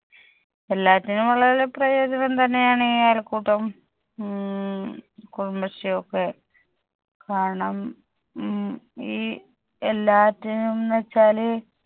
എല്ലാറ്റിനുമുള്ള പ്രയോജനം തന്നെയാണ് ഈ അയൽക്കൂട്ടം. മ്മ് കുടുംബശ്രീ ഒക്കെ കണം മ്മ് ഈ എല്ലാറ്റിനും ന്ന്‌ വെച്ചാല്